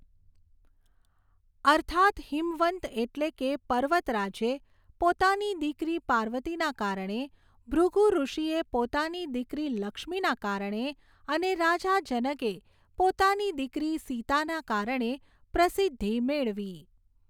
અર્થાત્, હીમવંત એટલે કે, પર્વતરાજે પોતાની દિકરી પાર્વતીના કારણે, ભૃગુ ઋષિએ પોતાની દિકરી લક્ષ્મીના કારણે અને રાજા જનકે પોતાની દિકરી સીતાના કારણે પ્રસિદ્ધિ મેળવી.